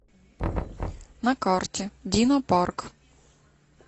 на карте динопарк